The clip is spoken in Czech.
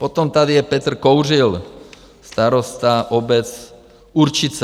Potom tady je Petr Kouřil, starosta obec Určice.